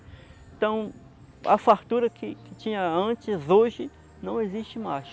Então, a fartura que que tinha antes, hoje, não existe mais.